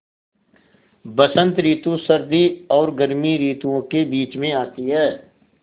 बसंत रितु सर्दी और गर्मी रितुवो के बीच मे आती हैँ